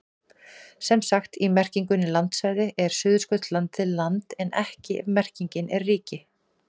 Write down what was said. Sem sagt, í merkingunni landsvæði er Suðurskautslandið land en ekki ef merkingin er ríki.